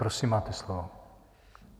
Prosím, máte slovo.